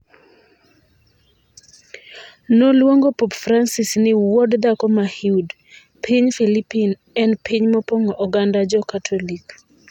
Noluongo Pop Francis ni "wuod dhako ma hude" (piny Filipin en piny mopong'o oganda Jo Katolik).